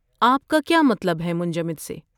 آپ کا کیا مطلب ہے منجمد سے؟